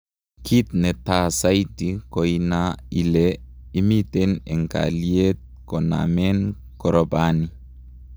Kit ne taa saiti koina ile imiten en kayliet konamen koropani